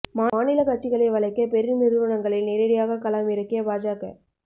மாநில கட்சிகளை வளைக்க பெரு நிறுவனங்களை நேரடியாக களம் இறக்கிய பாஜக